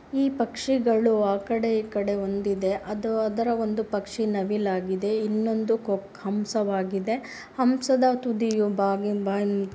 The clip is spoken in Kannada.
ಈ ಪಕ್ಷಿಗಳು ಆ ಕಡೆ ಈ ಕಡೆ ಒಂದಿದೆ ಅದು ಅದರ ಒಂದು ಪಕ್ಷಿ ನವಿಲು ಹಾಗಿದೆ ಇನ್ನೊಂದೂ ಕೋ ಹಂಸವಾಗಿದೆ ಹಂಸದ ತುದಿಯ ಬಾಗಿ ಬ--